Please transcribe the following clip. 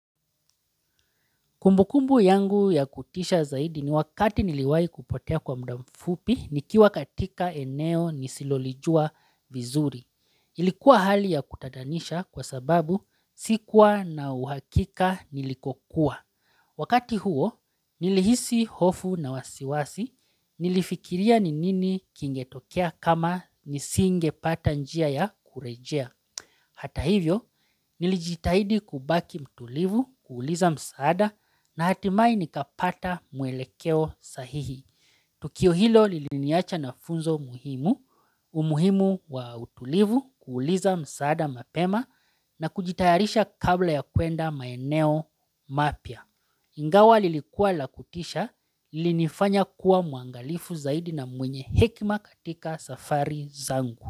Kumbukumbu yangu ya kutisha zaidi ni wakati niliwai kupotea kwa muda mfupi ni kiwa katika eneo nisilolijua vizuri. Ilikuwa hali ya kutatanisha kwa sababu sikuwa na uhakika nilikokuwa. Wakati huo nilihisi hofu na wasiwasi nilifikiria ni nini kingetokea kama nisinge patanjia ya kurejea. Hata hivyo, nilijitahidi kubaki mtulivu kuuliza msaada na hatimaye nikapata muelekeo sahihi. Tukio hilo liliniacha na funzo muhimu, umuhimu wa utulivu kuuliza msaada mapema na kujitayarisha kabla ya kuenda maeneo mapya. Ingawa lilikuwa lakutisha, linifanya kuwa muangalifu zaidi na mwenye hekima katika safari zangu.